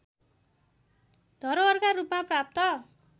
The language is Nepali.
धरोहरका रूपमा प्राप्त